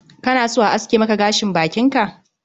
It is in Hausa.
Kana so a aske maka gashin bakin ka?